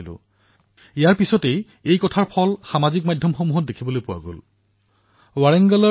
মই কৈছিলো আহক আমি সকলোৱে এই দিপাৱলীত ভাৰতৰ নাৰী শক্তি আৰু তেওঁলোকৰ উপলব্ধিসমূহক উদযাপন কৰো অৰ্থাৎ ভাৰতৰ লক্ষ্মীৰ সন্মান কৰো